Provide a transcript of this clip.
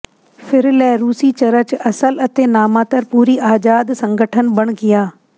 ਫਿਰ ਲੈ ਰੂਸੀ ਚਰਚ ਅਸਲ ਅਤੇ ਨਾਮਾਤਰ ਪੂਰੀ ਆਜ਼ਾਦ ਸੰਗਠਨ ਬਣ ਗਿਆ